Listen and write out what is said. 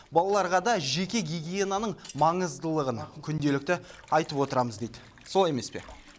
балаларға да жеке гигиенаның маңыздылығын күнделікті айтып отырамыз дейді солай емес пе